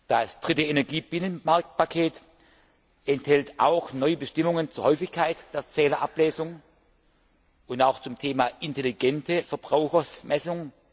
Das dritte Energiebinnenmarktpaket enthält auch neue Bestimmungen zur Häufigkeit der Zählerablesung und auch zum Thema intelligente Verbrauchsmessung.